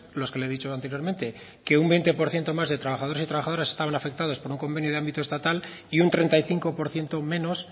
los que le he dicho anteriormente que un veinte por ciento más de trabajadores y trabajadoras estaban afectados por un convenio de ámbito estatal y un treinta y cinco por ciento menos